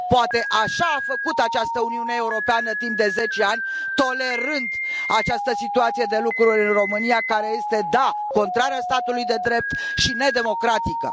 Poate așa a făcut această Uniunea Europeană timp de zece ani, tolerând această situație de lucruri în România care este, da, contrară statului de drept și nedemocratică.